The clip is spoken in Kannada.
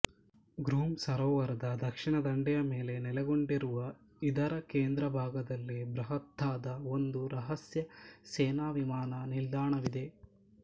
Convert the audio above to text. ಗ್ರೂಮ್ ಸರೋವರದ ದಕ್ಷಿಣ ದಂಡೆಯ ಮೇಲೆ ನೆಲೆಗೊಂಡಿರುವ ಇದರ ಕೇಂದ್ರಭಾಗದಲ್ಲಿ ಬೃಹತ್ತಾದ ಒಂದು ರಹಸ್ಯ ಸೇನಾ ವಿಮಾನ ನಿಲ್ದಾಣವಿದೆ